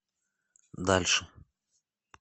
дальше